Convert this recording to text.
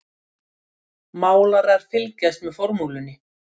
Málarar fylgjast með formúlunni